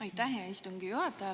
Aitäh, hea istungi juhataja!